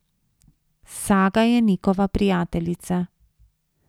Saga je Nikova prijateljica.